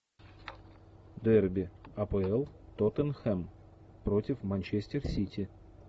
дерби апл тоттенхэм против манчестер сити